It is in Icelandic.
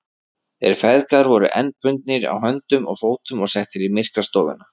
Þeir feðgar voru enn bundnir á höndum og fótum og settir í myrkrastofuna.